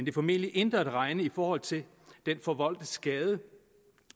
er formentlig intet at regne i forhold til den forvoldte skade